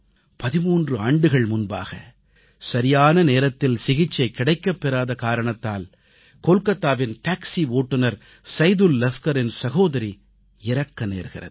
13 ஆண்டுகள் முன்பாக சரியான நேரத்தில் சிகிச்சை கிடைக்கப் பெறாத காரணத்தால் கோல்காத்தாவின் டாக்சி ஓட்டுனர் சைதுல் லஸ்கரின் சகோதரி இறக்க நேர்கிறது